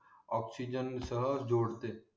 oxygen सह जोडते